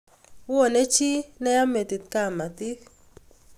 Wone chi neya metit kamatik